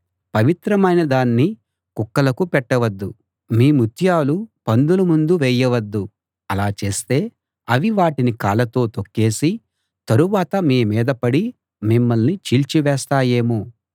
పవిత్రమైనదాన్ని కుక్కలకు పెట్టవద్దు మీ ముత్యాలు పందుల ముందు వేయవద్దు అలా చేస్తే అవి వాటిని కాళ్ళతో తొక్కేసి తరువాత మీమీద పడి మిమ్మల్ని చీల్చి వేస్తాయేమో